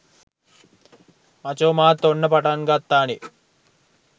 මචෝ මාත් ඔන්න පටන් ගත්තානේ